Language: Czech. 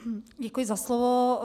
Děkuji za slovo.